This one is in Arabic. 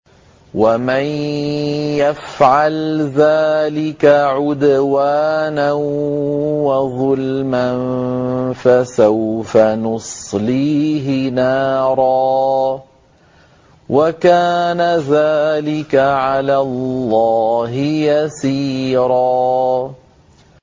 وَمَن يَفْعَلْ ذَٰلِكَ عُدْوَانًا وَظُلْمًا فَسَوْفَ نُصْلِيهِ نَارًا ۚ وَكَانَ ذَٰلِكَ عَلَى اللَّهِ يَسِيرًا